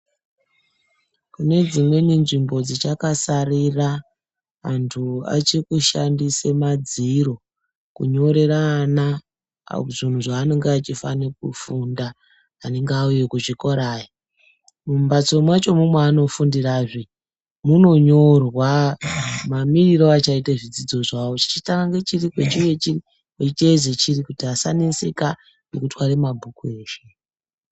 Mune dzimweni nzvimbo dzichakasarira antu achiri kushandise madziro kunyorera ana zvinhu zvaanenge achifana kufunda anenge auya kuchikora aya mumbatso mwachomwo mwaanifundirazve munonyorwa mamirire achaite zvidzidzo zvavo zvichitanga nechiri kwechinenge chiri kwechiiyedze kuti asaneseka mukutware mabhuku eshe.